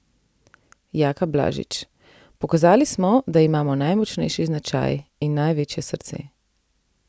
Jaka Blažič: "Pokazali smo, da imamo najmočnejši značaj in največje srce.